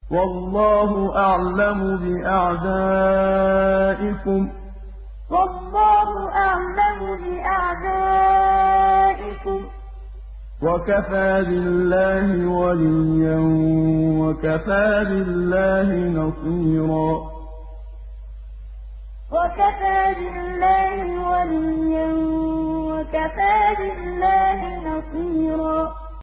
وَاللَّهُ أَعْلَمُ بِأَعْدَائِكُمْ ۚ وَكَفَىٰ بِاللَّهِ وَلِيًّا وَكَفَىٰ بِاللَّهِ نَصِيرًا وَاللَّهُ أَعْلَمُ بِأَعْدَائِكُمْ ۚ وَكَفَىٰ بِاللَّهِ وَلِيًّا وَكَفَىٰ بِاللَّهِ نَصِيرًا